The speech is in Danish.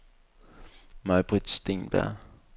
Maj-Britt Steenberg